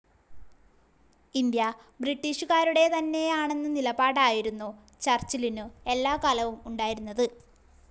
India ബ്രിട്ടീഷുകാരുടെ തന്നെയാണെന്ന നിലപാടായിരുന്നു ചർച്ചിലിനു എല്ലാകാലവും ഉണ്ടായിരുന്നത്.